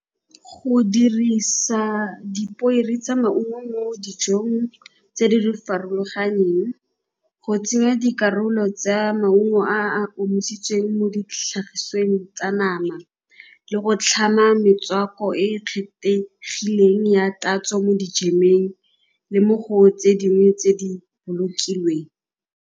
Go dirisa dipoere tsa maungo mo dijong tse di farologaneng, go tsenya dikarolo tsa maungo a a omisitsweng mo ditlhagisweng tsa nama le go tlhama metswako e e kgethegileng ya tatso mo dijemeng le mo go tse dingwe tse di bolokilweng.